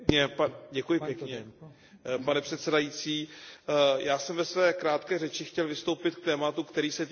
Pane předsedající, já jsem ve své krátké řeči chtěl vystoupit k tématu, který se týká jednotného digitálního trhu.